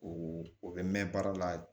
O o bɛ mɛn baara la